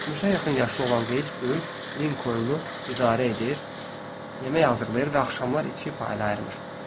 60-a yaxın yaşı olan Geyç böyük Linkolnu idarə edir, yemək hazırlayır və axşamlar iki paylayırmış.